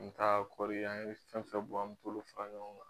N ka kɔɔri an ye fɛn fɛn bɔ an bolo fara ɲɔgɔn kan.